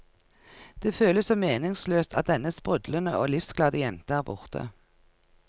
Det føles så meningsløst at denne sprudlende og livsglade jenta er borte.